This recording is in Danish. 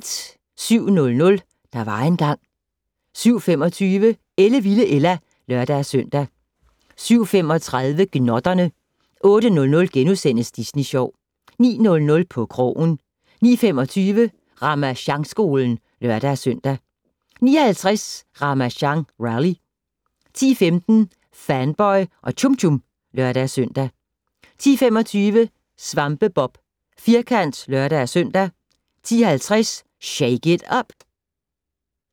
07:00: Der var engang ... 07:25: Ellevilde Ella (lør-søn) 07:35: Gnotterne 08:00: Disney Sjov * 09:00: På krogen 09:25: Ramasjangskolen (lør-søn) 09:50: Ramasjang Rally 10:15: Fanboy og Chum Chum (lør-søn) 10:25: SvampeBob Firkant (lør-søn) 10:50: Shake it up!